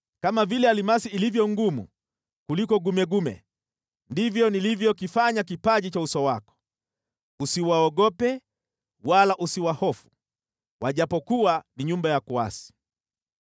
Kama vile almasi ilivyo ngumu kuliko gumegume, ndivyo nilivyokifanya kipaji cha uso wako. Usiwaogope wala usiwahofu, ijapokuwa ni nyumba ya kuasi.”